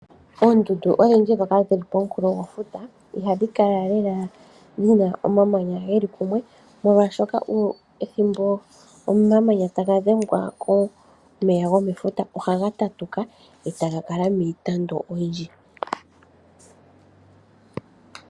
Oondundu odhindji dhoka dhili po munkulo gwefuta, ihadhi kala lela dhi na omamanya geli kumwe. Molwashoka ethimbo omamanya taga dhengwa komeya go mefuta, ohaga tatuka e taga kala miitandu oyindji.